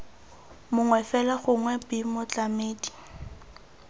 mongwe fela gongwe b motlamedi